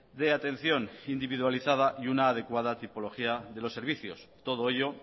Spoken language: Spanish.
de atención individualizada y una adecuada tipología de los servicios todo ello